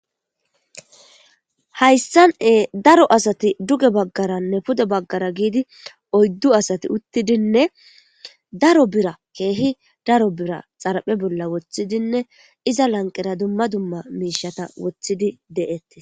Hayssane daro asati duge baggaranne pude baggara giidi oyddu asati uttidinne daro bira keehi daro bira xaraphe bolla woththidinne iza lanqera dumma dumma miishata wothidi de'etti.